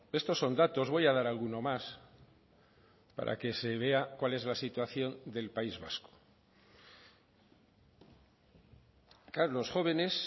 estos son datos voy a dar alguno más para que se vea cuál es la situación del país vasco claro los jóvenes